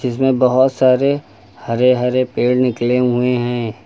जिसमें बहोत सारे हरे हरे पेड़ निकले हुए हैं।